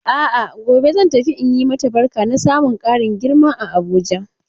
A'a ,gobe zan tafi in yi mata barka na samun ƙarin girman a Abuja.